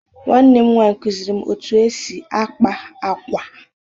Nwanne m nwaanyị kụziiri m otú e si akpa ákwà